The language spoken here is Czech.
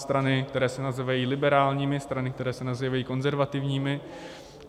Strany, které se nazývají liberálními, strany, které se nazývají konzervativními.